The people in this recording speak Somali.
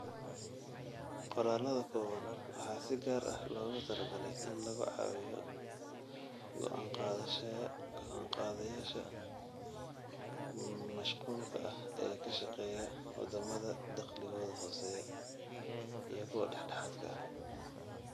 Qoraallada kooban waxaa si gaar ah loogu talagalay in lagu caawiyo go'aan-qaadayaasha mashquulka ah ee ka shaqeeya waddamada dakhligoodu hooseeyo iyo kuwa dhexdhexaadka ah.